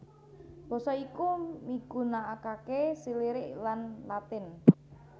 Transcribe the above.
Basa iki migunakakéSirilik lan Latin